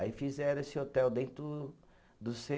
Aí fizeram esse hotel dentro do cê